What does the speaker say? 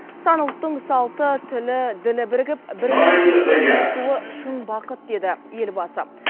сан ұлттың салты тілі ділі бірігіп бір мемлекетке ұйысуы шын бақыт деді елбасы